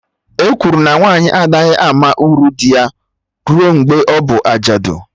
E kwuru na nwaanyị anaghị ama uru dị ya rue mgbe ọbụ ajadu